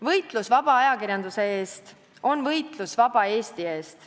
Võitlus vaba ajakirjanduse eest on võitlus vaba Eesti eest.